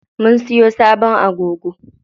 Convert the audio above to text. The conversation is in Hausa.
Mun siyo sabon agogo.